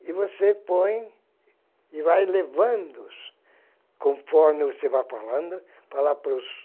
e você põe e vai levando-os, conforme você vai falando, falar para os